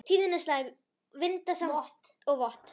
Tíðin er slæm, vindasamt og vott.